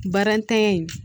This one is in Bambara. Barantanya in